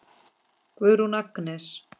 Guðrún Agnes.